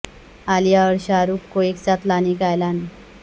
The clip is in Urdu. عالیہ اور شاہ رخ کو ایک ساتھ لانے کا اعلان